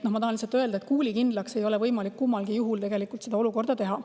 Ma tahan lihtsalt öelda, et kuulikindlaks ei ole võimalik kummalgi juhul seda olukorda teha.